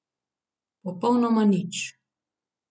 Popolnoma nič.